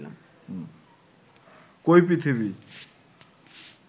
কই পৃথিবী